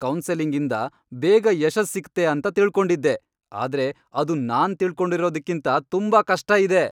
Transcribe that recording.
Counselling ಇಂದ ಬೇಗ ಯಶಸ್ ಸಿಕ್ತೆ ಅಂತ ತಿಳ್ಕೊಂಡಿದ್ದೆ, ಆದ್ರೆ ಅದು ನಾನ್ ತಿಳ್ಕೊಂಡಿರೊದ್ಕಿಂಥ ತುಂಬಾ ಕಷ್ಟ ಇದೆ.